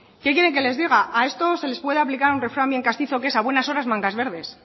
qué quiere que les diga a esto se le puede aplicar un refrán bien castizo que es a buenas horas mangas verdes